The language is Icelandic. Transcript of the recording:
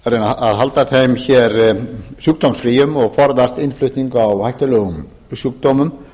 að reyna á halda þeim hér sjúkdómsfríum og forðast innflutning á hættulegum sjúkdómum